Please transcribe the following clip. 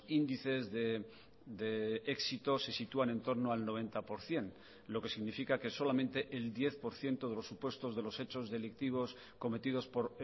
índices de éxito se sitúan entorno al noventa por ciento lo que significa que solamente el diez por ciento de los supuestos de los hechos delictivos cometidos por